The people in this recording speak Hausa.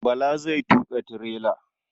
Bala zai tuƙa tirela.